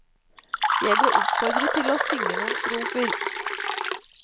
Jeg ble oppfordret til å synge noen strofer.